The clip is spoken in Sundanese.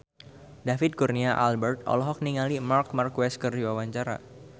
David Kurnia Albert olohok ningali Marc Marquez keur diwawancara